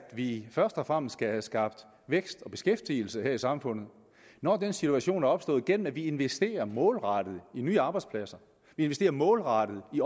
vi først og fremmest skal have skabt vækst og beskæftigelse her i samfundet når den situation er opstået gennem at vi investerer målrettet i nye arbejdspladser investerer målrettet i